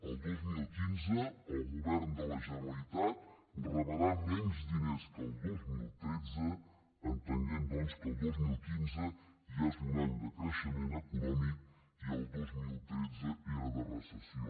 el dos mil quinze el govern de la generalitat rebrà menys di·ners que el dos mil tretze entenent doncs que el dos mil quinze ja és un any de creixement econòmic i el dos mil tretze era de recessió